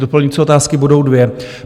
Doplňující otázky budou dvě.